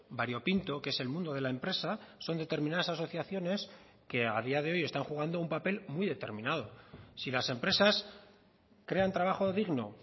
variopinto que es el mundo de la empresa son determinadas asociaciones que a día de hoy están jugando un papel muy determinado si las empresas crean trabajo digno